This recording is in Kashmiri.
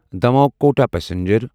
دموہ کوٹا پسنجر